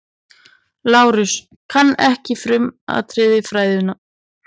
LÁRUS: Kann ekki frumatriði fræðanna.